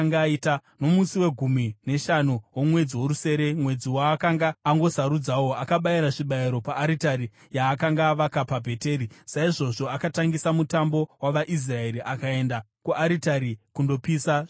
Nomusi wegumi neshanu womwedzi worusere, mwedzi waakanga angosarudzawo, akabayira zvibayiro paaritari yaakanga avaka paBheteri. Saizvozvo akatangisa mutambo wavaIsraeri akaenda kuaritari kundopisa zvinonhuhwira.